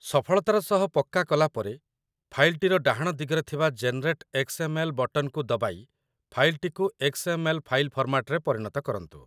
ସଫଳତାର ସହ ପକ୍କା କଲାପରେ, ଫାଇଲ୍‌ଟିର ଡାହାଣ ଦିଗରେ ଥିବା 'ଜେନେରେଟ୍ ଏକ୍ସ.ଏମ୍.ଏଲ୍' ବଟନ୍‌କୁ ଦବାଇ ଫାଇଲ୍‌ଟିକୁ ଏକ୍ସ.ଏମ୍.ଏଲ୍. ଫାଇଲ ଫର୍ମାଟରେ ପରିଣତ କରନ୍ତୁ